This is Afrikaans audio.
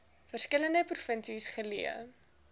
verskillende provinsies geleë